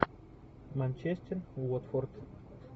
манчестер уотфорд